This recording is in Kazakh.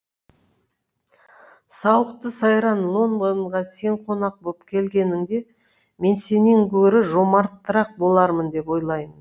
сауықты сайран лондонға сен қонақ боп келгеніңде мен сенен гөрі жомартырақ болармын деп ойлаймын